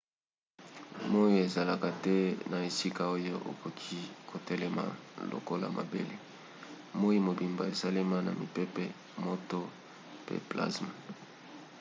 moi ezalaka te na esika oyo okoki kotelema lokola mabele. moi mobimba esalema na mipepe moto pe plazma